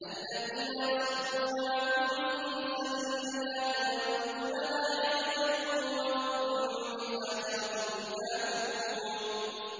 الَّذِينَ يَصُدُّونَ عَن سَبِيلِ اللَّهِ وَيَبْغُونَهَا عِوَجًا وَهُم بِالْآخِرَةِ هُمْ كَافِرُونَ